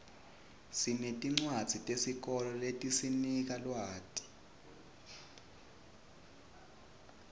sinetincwadzi tesikolo letisinika lwati